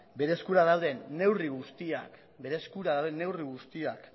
bere eskura dauden neurri guztiak